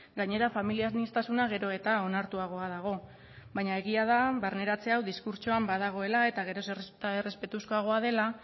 gainera familia aniztasuna gero eta onartuagoa dago baina egia da barneratzen hau diskurtsoan badagoela eta gero eta errespetuzkoagoa dela